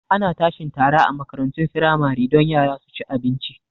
Ana tashi tara a makarantun firamare don yara su ci abinci